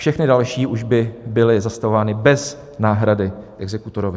Všechna další už by byly zastavována bez náhrady exekutorovi.